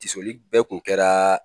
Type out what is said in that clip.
Tisoli bɛɛ kun kɛra